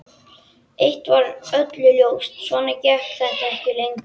Eitt var öllum ljóst: Svona gekk þetta ekki lengur.